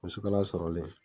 Musukala sɔrɔlen